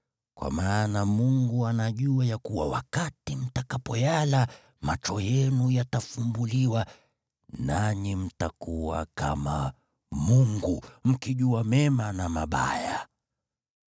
Kwa maana Mungu anajua ya kuwa wakati mtakapoyala, macho yenu yatafumbuliwa, nanyi mtakuwa kama Mungu, mkijua mema na mabaya.”